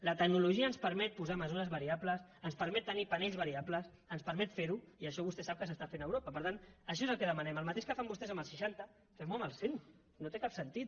la tecnologia ens permet posar mesures variables ens permet tenir panells variables ens permet fer ho i això vostè sap que s’està fent a europa per tant això és el que demanem el mateix que fan vostès amb els seixanta fem ho amb els cent no té cap sentit